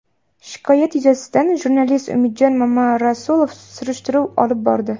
Shikoyat yuzasidan jurnalist Umidjon Mamarasulov surishtiruv olib bordi.